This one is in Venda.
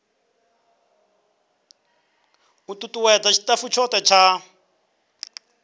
u tutuwedza tshitafu tshothe tsha